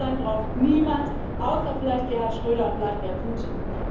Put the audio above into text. Diese Pipeline braucht niemand außer vielleicht Gerhard Schröder und Wladimir Putin.